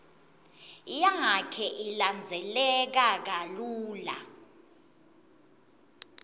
yakhe ilandzeleka kalula